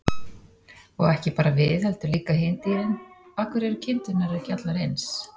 Og ekki bara við heldur líka hin dýrin: Af hverju eru kindurnar ekki allar eins?